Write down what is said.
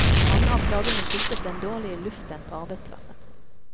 Mange av plagene skyldtes den dårlige luften på arbeidsplassen.